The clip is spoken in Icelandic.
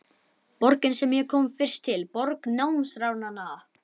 Borgin sem ég kom fyrst til, borg námsáranna.